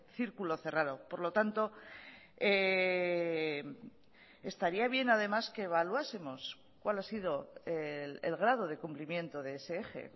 circulo cerrado por lo tanto estaría bien además que evaluásemos cual ha sido el grado de cumplimiento de ese eje